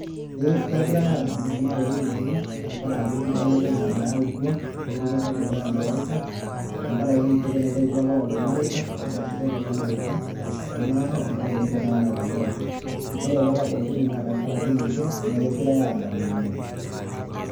Ee kegirae adamu irmarei lenye tenkaraki enkibelekenya nayautwa eroruata edukuya nawaita , nenkaraki enkirerua naiterutua apa lelo mareita nitashito lelo mareita terishata naado ampaka ene taat netabautua, naa ore petabautua ene naa tenkaraki ninche nee kegirae adamu oleng.